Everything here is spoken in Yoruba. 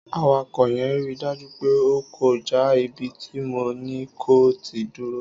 Àwako yẹn rí dàjú pẹ o kọ̀ jà ìbíti mò ni kò tì dúrò